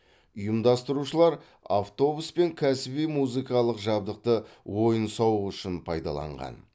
ұйымдастырушылар автобус пен кәсіби музыкалық жабдықты ойын сауық үшін пайдаланған